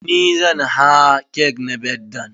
NI zan haa cake na birthdayn.